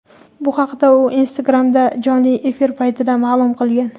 Bu haqda u Instagram’dagi jonli efir paytida ma’lum qilgan.